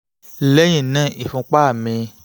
lẹ́yìn náà ìfúnpá